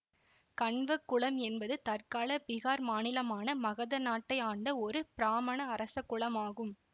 கண்வ குலம் என்பது தற்கால பிகார் மாநிலமான மகத நாட்டை ஆண்ட ஒரு பிராமண அரச குலமாகும்